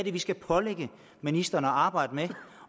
er vi skal pålægge ministeren at arbejde med